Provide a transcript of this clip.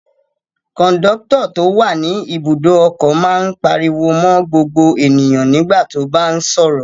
Kọ̀ńdọ́tọ̀ tó wà ní Ibùdó-ọkọ̀ máa ń pariwo mọ́ gbogbo ènìyàn nígbà tó bá ń sọ̀rọ̀.